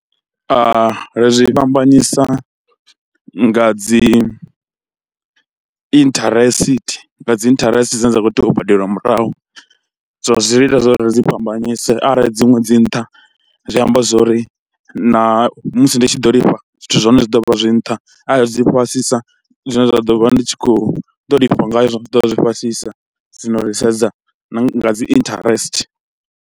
Ri zwi fhambanyisa nga dzi intharesithi, nga dzi interest dzine dza khou tea u badeliwa murahu, so zwi ita zwo ri dzi fhambanyisa arali dziṅwe dzi nṱha zwi amba zwo ri na musi ndi tshi ḓo lifha, zwithu zwa hone zwi ḓo vha zwi nṱha, aarli dzi fhasisa zwine zwa ḓo vha ndi tshi khou ḓo lifha ngayo zwa ḓo vha zwi fhasisa, zwino ri sedza na nga dzi interest.